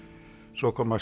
svo koma